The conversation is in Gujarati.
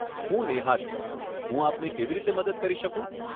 હું નેહા છું, હું આપને કેવી રીતે મદદ કરી શકું?